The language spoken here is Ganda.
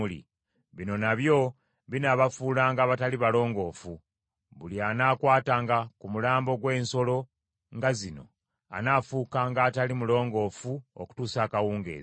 “Bino nabyo binaabafuulanga abatali balongoofu; buli anaakwatanga ku mulambo gw’ensolo nga zino anaafuukanga atali mulongoofu okutuusa akawungeezi.